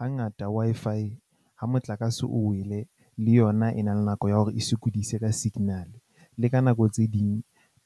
Hangata Wi-Fi ha motlakase o wele, le yona e na le nako ya hore e sokodise ka signal le ka nako tse ding.